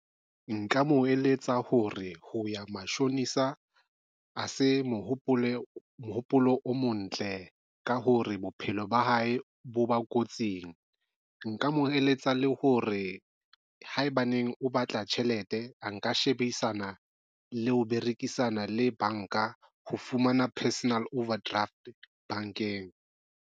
Nka mo eletsa ho re ho ya mashonisa ha se mohopolo o mo ntle ka hore bophelo ba hae bo ba kotsing. Nka mo eletsa le hore haebaneng o batla tjhelete, a nka shebisana le ho berekisana le banka ho fumana personal overdraft bankeng.